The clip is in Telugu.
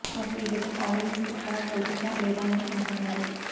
అసలు ఈ గెటప్ ఆడియెన్స్ కు కనెక్ట్ అవుతుందా లేదా అని అనుకున్నారు